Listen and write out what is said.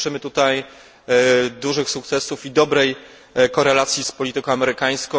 Życzymy tutaj dużych sukcesów i dobrej korelacji z polityką amerykańską.